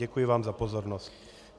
Děkuju vám za pozornost.